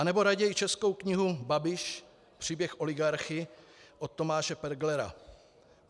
Anebo raději českou knihu Babiš, příběh oligarchy od Tomáše Perglera.